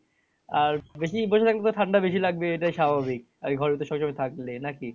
আর বেশি বসে থাকলে তো ঠান্ডা বেশি লাগবে এটাই স্বাভাবিক আর ঘরের ভিতর সবসময় থাকলে নাকি?